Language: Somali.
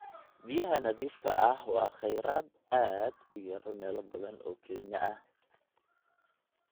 Biyaha nadiifka ah waa kheyraad aad u yar meelo badan oo Kenya ah.